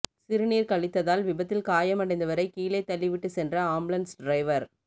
சிறுநீர் கழித்ததால் விபத்தில் காயம் அடைந்தவரை கீழே தள்ளி விட்டு சென்ற ஆம்புலன்ஸ் டிரைவர்